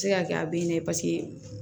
Se ka kɛ a bɛ ɲɛ paseke